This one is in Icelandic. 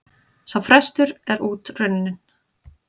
Sá frestur er út runninn.